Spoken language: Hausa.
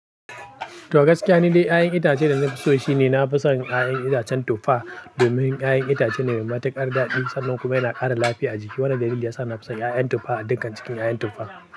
To gaskiya, ni dai 'ya'yan itace da na fi so shi ne na fi son 'ya'yan itacen tuffa. Domin 'ya'yan itace ne mai matuƙar daɗi, sannan kuma yana ƙara lafiya a jiki. Wannan dalili ya sa na fi son 'ya'yan tuffa a dukkan cikin 'ya'yan tuffa.